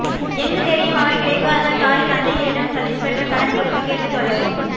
எங்கு தேடியும் அவர் கிடைக்காததால் தாய் தந்தையரிடம் சதீஷ் பெற்ற கடன் குறித்து கேட்டு தொல்லை